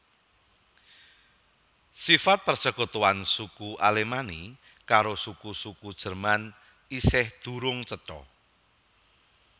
Sifat persekutuan suku Alemanni karo suku suku Jerman isih durung cetha